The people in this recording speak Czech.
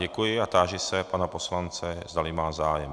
Děkuji a táži se pana poslance, zdali má zájem.